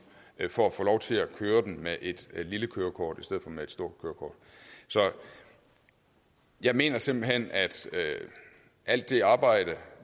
for at få lov til at køre den med et lille kørekort i stedet for med et stort så jeg mener simpelt hen at alt det arbejde